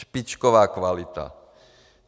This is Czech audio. Špičková kvalita.